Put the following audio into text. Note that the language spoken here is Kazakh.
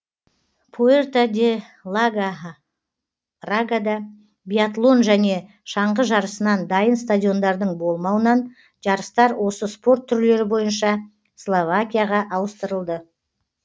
пуэрто де ла рагада биатлон және шаңғы жарысынан дайын стадиондардың болмауынан жарыстар осы спорт түрлері бойынша словакияға ауыстырылды